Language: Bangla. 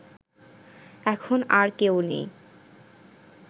এখন আর কেউ নেই